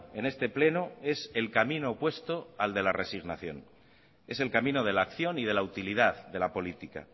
en este pleno es el camino opuesto al de la resignación es el camino de la acción y de la utilidad de la política